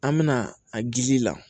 An mɛna a gili ji la